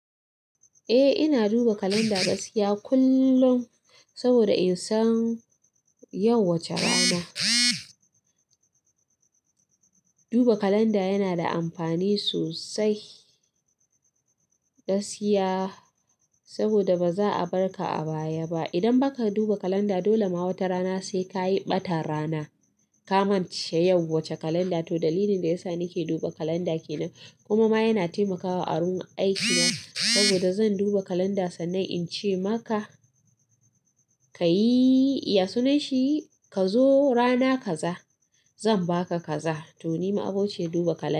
Eh ina duba kalanda gaskiya kullum, saboda in san yau wace rana. Duba kalanda yana da amfani sosai. Gaskiya saboda baza a barka a baya ba. Idan baka duba kalanda dole ma wata rana sai kayi ɓatan rana. Kamance yau wace kalanda, to dalilin da yasa nake duba kalanda kenan, kuma ma yana temaka mun a wurin aikina saboda zan duba kalanda sannan ince maka kayi, "ya sunanshi kazo rana kaza zan baka kaza" to ni ma'abiciyar duba kalanda.